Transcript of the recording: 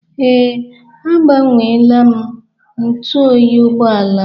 Ee, agbanweela m ntụ oyi ụgbọala m.